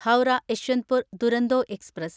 Howrah Yesvantpur Duronto express